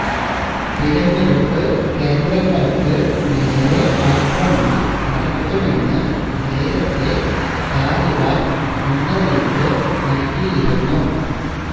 തെരഞ്ഞെടുപ്പ് കേന്ദ്രങ്ങള്ക്ക് നേരെ ആക്രമണം നടത്തുമെന്ന് നേരത്തെ താലിബാന് മുന്നറിയിപ്പ് നല്കിയിരുന്നു